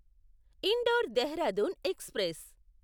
indoor Dehradun express